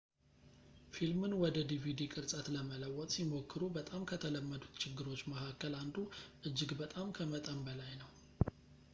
ፊልምን ወደ ዲቪዲ ቅርጸት ለመለወጥ ሲሞክሩ በጣም ከተለመዱት ችግሮች መካከል አንዱ እጅግ በጣም ከመጠን በላይ ነው